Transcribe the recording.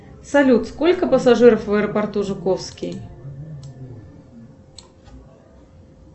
салют сколько пассажиров в аэропорту жуковский